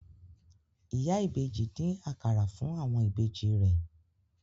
Ìyá ìbejì dín akara fún àwọn ìbejì rẹ̀